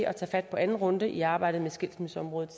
at tage fat på anden runde i arbejdet med skilsmisseområdet